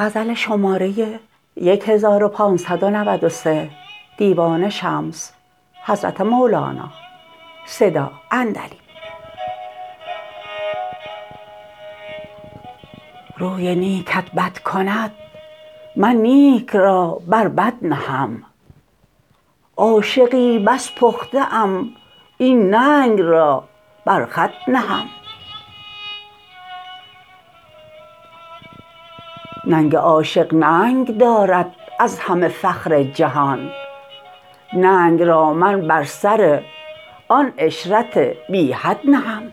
روی نیکت بد کند من نیک را بر بد نهم عاشقی بس پخته ام این ننگ را بر خود نهم ننگ عاشق ننگ دارد از همه فخر جهان ننگ را من بر سر آن عشرت بی حد نهم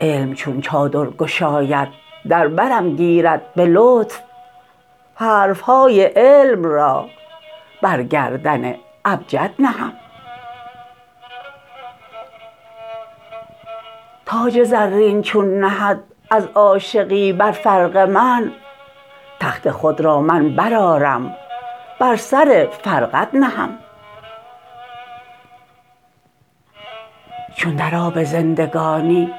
علم چون چادر گشاید در برم گیرد به لطف حرف های علم را بر گردن ابجد نهم تاج زرین چون نهد از عاشقی بر فرق من تخت خود را من برآرم بر سر فرقد نهم چون در آب زندگانی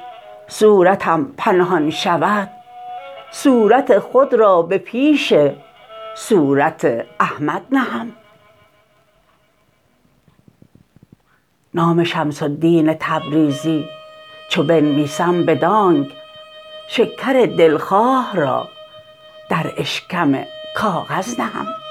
صورتم پنهان شود صورت خود را به پیش صورت احمد نهم نام شمس الدین تبریزی چو بنویسم بدانک شکر دلخواه را در اشکم کاغذ نهم